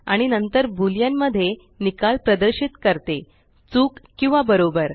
आणि नंतर बूलीयन मध्ये निकाल प्रदर्शित करते चुक किंवा बरोबर